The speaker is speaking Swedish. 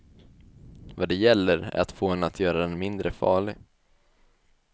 Vad det gäller är att få henne att göra den mindre farlig.